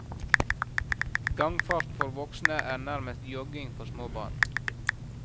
Gangfart for voksne er nærmest jogging for små barn.